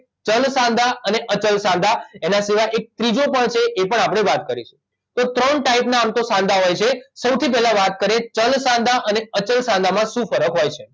ચલ સાંધા અને અચલ સાંધા એના સિવાય એક ત્રીજો પણ છે એ પણ આપડે વાત કરીશું તો ત્રણ ટાઇપના આમ તો સાંધા હોય છે સૌથી પહેલાં વાત કરીએ ચલ સાંધા અને અચલ સાંધા માં શુ ફરક હોય છે